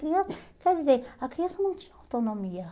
Quer dizer, a criança não tinha autonomia.